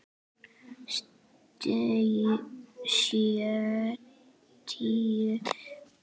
Sjötíu og átta ára.